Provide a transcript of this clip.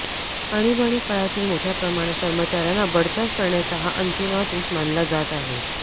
आणिबाणी काळातील मोठ्या प्रमाणात कर्मचार्यांना बडतर्फ करण्याचा हा अंतिम आदेश मानला जात आहे